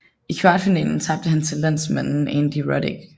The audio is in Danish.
I kvartfinalen tabte han til landsmanden Andy Roddick